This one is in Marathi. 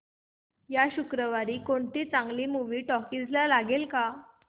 या शुक्रवारी कोणती चांगली मूवी टॉकीझ ला लागेल का